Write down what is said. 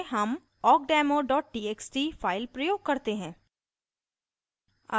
प्रदर्शन उद्देश्य के लिए हम awkdemo txt file प्रयोग करते हैं